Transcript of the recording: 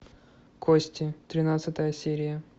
кости тринадцатая серия